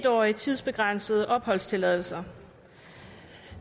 årige tidsbegrænsede opholdstilladelser